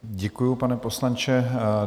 Děkuji, pane poslanče.